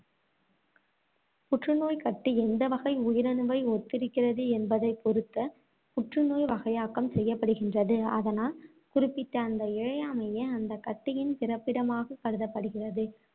புற்றுநோய்க் கட்டி எந்த வகை உயிரணுவை ஒத்திருக்கிறது என்பதைப் பொறுத்து புற்றுநோய் வகையாக்கம் செய்யப்படுகின்றது, அதனால், குறிப்பிட்ட அந்த இழையமே அந்த கட்டியின் பிறப்பிடமாக கருதப்படுகிறது.